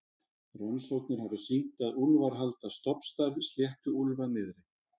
rannsóknir hafa sýnt að úlfar halda stofnstærð sléttuúlfa niðri